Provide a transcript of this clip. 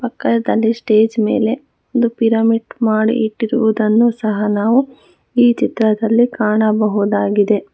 ಕಲ್ತಲ್ಲಿ stage ಮೇಲೆ ಒಂದು pyramid ಮಾಡಿ ಇಟ್ಟಿರುವುದನ್ನು ಸಹ ನಾವು ಈ ಚಿತ್ರದಲ್ಲಿ ಕಾಣಬಹುದಾಗಿದೆ.